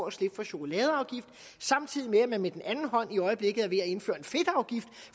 at slippe for chokoladeafgiften samtidig med at man med den anden hånd i øjeblikket er ved at indføre en fedtafgift